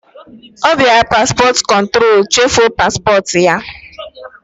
Ọ biara paspọt kụntrol, chefuo paspọt ya!